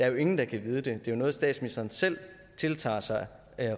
jo ingen der kan vide det det er noget statsministeren selv tiltager sig